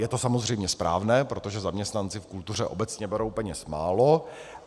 Je to samozřejmě správné, protože zaměstnanci v kultuře obecně berou peněz málo.